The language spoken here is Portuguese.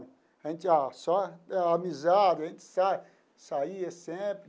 A gente só amizade, a gente sai saia sempre.